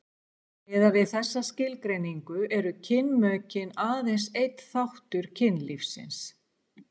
miðað við þessa skilgreiningu eru kynmökin aðeins einn þáttur kynlífsins